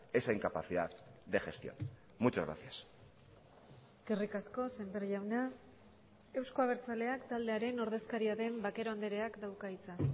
esa incapacidad de gestión muchas gracias eskerrik asko sémper jauna euzko abertzaleak taldearen ordezkaria den vaquero andreak dauka hitza